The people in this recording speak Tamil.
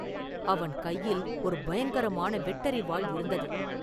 அவன் கையில் ஒரு பயங்கரமான வெட்டரிவாள் இருந்தது.